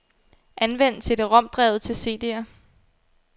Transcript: Anvend cd-rom-drevet til cd'er.